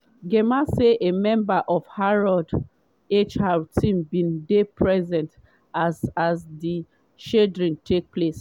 gemma say a member of harrods hr team bin dey present as as di shredding take place.